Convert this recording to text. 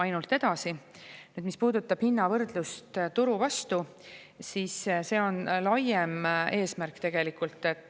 Nüüd, mis puudutab hinnavõrdlust turuga, see on tegelikult laiem eesmärk.